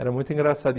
Era muito engraçado.